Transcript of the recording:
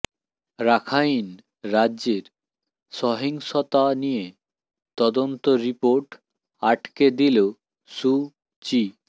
Rakhine রাজ্যের সহিংসতা নিয়ে তদন্ত রিপোর্ট আটকে দিল সু চি